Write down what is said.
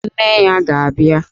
Nne ya ga-abịa!